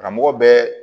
Karamɔgɔ bɛɛ